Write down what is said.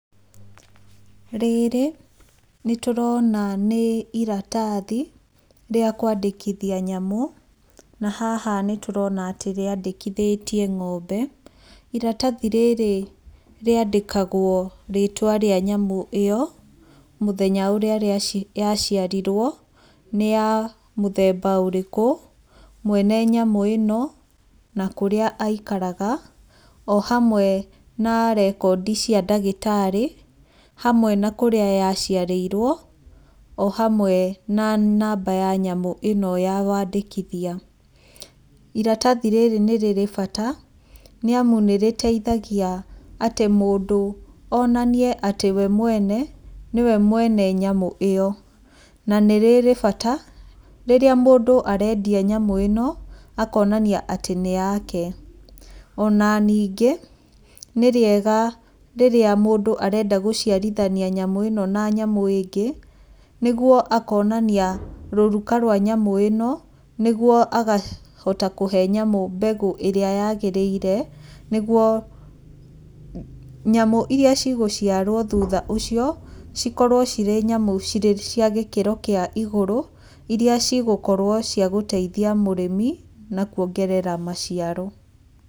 Rĩrĩ nĩ tũrona nĩ iratathi rĩa kwandĩkithia nyamũ, na haha nĩ tũrona atĩ rĩandĩkithĩtie ng'ombe, iratathi rĩrrĩ rĩandĩkagwo rĩtwa rĩa nyamũ ĩyo, mĩthenya ũrĩa rĩa yaciarirwo, nĩya mũthemba ũrĩkũ, mwene nyamũ ĩno, na kũrĩa aikaraga, o hamwe narekondi cia ndagĩtarĩ, hamwe na kũrĩa yaciarĩirwo, o hamwe na namba ya nyamũ ĩno ya wandĩkithia, iratathi rĩrĩ nĩ rĩrĩ bata nĩamu nĩ rĩteithagia atĩ mũndũ onanie atĩ we mwene, nĩwe mwene nyamũ ĩyo, na nĩrĩrĩ bata rĩrĩa mũndũ arendia nyamũ ĩno, akonania atĩ nĩ yake, ona ningĩ nĩ rĩega rĩrĩa mũndũ arenda gũciarithania nyamũ ĩno na nyamũ ĩngĩ, nĩguo akonania rũruka rwa nyamũ ĩno, nĩguo agahota kũhe nyamũ mbegũ ĩrĩa yagĩrĩire, nĩguo nyamũ iria cigciarwo thutha ũcio, cikorwo cirĩ nyamũ cirĩ cia gĩkĩro kĩa igũrũ, iria cigũkorwo cia gũteithia mũrĩmi, na kwongerera maciaro.